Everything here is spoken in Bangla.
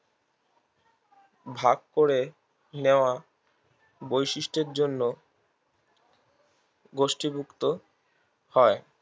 ভাগ করে নেওয়া বৈশিষ্ঠের জন্য গোষ্ঠীভুক্ত হয়